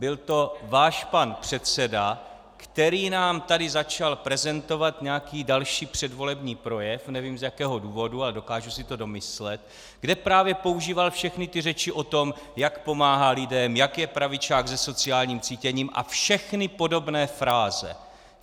Byl to váš pan předseda, který nám tady začal prezentovat nějaký další předvolební projev - nevím, z jakého důvodu, ale dokážu si to domyslet -, kde právě používal všechny ty řeči o tom, jak pomáhal lidem, jak je pravičák se sociálním cítěním a všechny podobné fráze.